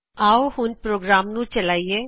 ਆਓ ਹੁਣ ਪ੍ਰੋਗਰਾਮ ਨੂੰ ਚਲਾਇਏ